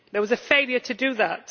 There was a failure to do that.